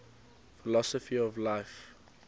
philosophy of life